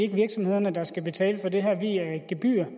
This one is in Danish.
er virksomhederne der skal betale for det her via et gebyr